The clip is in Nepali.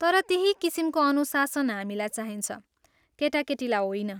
तर त्यही किसिमको अनुशासन हामीलाई चाहिन्छ, केटाकेटीलाई होइन।